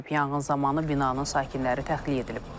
Yanğın zamanı binanın sakinləri təxliyə edilib.